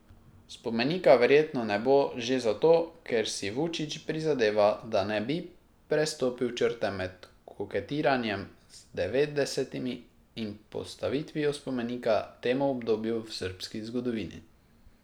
Spomenika verjetno ne bo že zato, ker si Vučić prizadeva, da ne bi prestopil črte med koketiranjem z devetdesetimi in postavitvijo spomenika temu obdobju v srbski zgodovini.